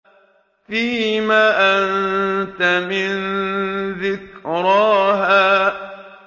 فِيمَ أَنتَ مِن ذِكْرَاهَا